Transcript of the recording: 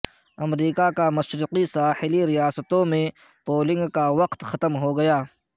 امریکا کی مشرقی ساحلی ریاستوں میں پولنگ کاوقت ختم ہوگیا